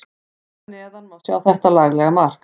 Hér að neðan má sjá þetta laglega mark.